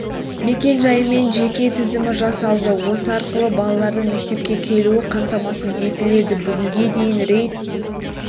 мекен-жайы мен жеке тізімі жасалды осы арқылы балалардың мектепке келуі қамтамасыз етіледі бүгінге дейін рейд